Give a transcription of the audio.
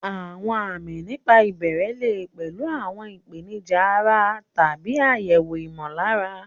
Àwọn àmì nígbà ìbẹ̀rẹ̀ lè pẹ̀lú àwọn ìpèníjà ara tàbí àyẹ̀wò ìmọ̀lára.